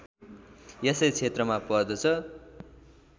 यसै क्षेत्रमा पर्दछ